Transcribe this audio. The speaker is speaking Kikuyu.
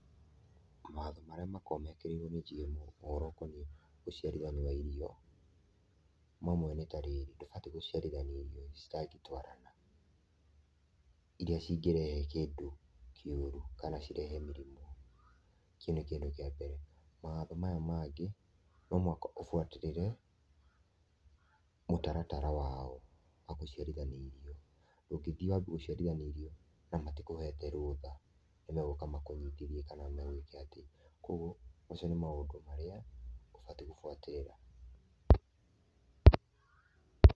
Mawatho marĩa makoragwo mekĩrĩirwo nĩ GMO, ũhoro ũkoniĩ ũciarithania wa irio, mamwe nĩ ta rĩrĩ, ndũbatiĩ gũciarithania irio citangĩtwarana, irĩa cingĩrehe kĩndũ kĩũru kana cirehe mĩrimũ, kĩu nĩ kĩndũ kĩa mbere. Mawatho maya mangĩ, no mũhaka ũbuatĩrĩre mũtaratara wao wa gũciarithania irio, ndũngĩthiĩ wambie gũciarithania irio na matikũhete rũtha, nĩ megũka makũnyitithie kana magwĩke atĩ. Koguo macio nĩ maũndũ marĩa ũbatiĩ gũbuatĩrĩra.